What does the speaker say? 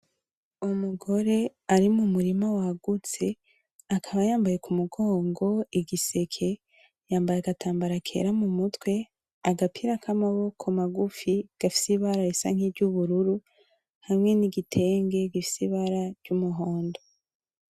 Umugore ari mu murima wagutse, akaba yambaye ku mugongo igiseke, yambaye agatambara kera mu mutwe; agapira k'amaboko magufi gafise ibara risa nkiry'ubururu; hamwe n'igitenge gifise ibara ry'umuhondo.